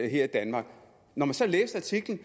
her i danmark når man så læste artiklen